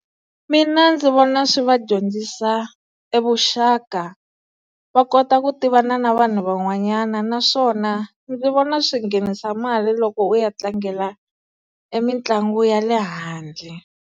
Mina ndzi vona swi va dyondzisa evuxaka va kota ku tivana na vanhu van'wanyana naswona ndzi vona swi nghenisa mali loko u ya tlangela emitlangu ya le handle.